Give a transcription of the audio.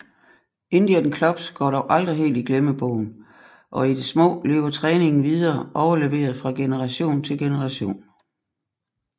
Indian Clubs går dog aldrig helt i glemmebogen og i det små lever træningen videre overleveret fra generation til generation